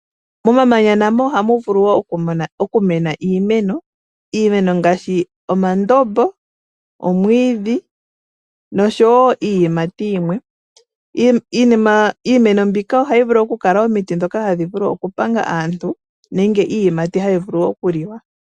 Momamanya namo ohamu vulu wo okumena iimeno. Iimeno ngaashi omandombo, omwiidhi nosho wo iiyimati yimwe. Iimeno mbika ohayi vulu okukala omiti ndhoka hadhi vulu okupanga aantu nenge iiyimati hayi vulu okuliwa.